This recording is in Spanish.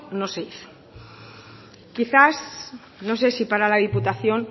no se hizo quizás no sé si para la diputación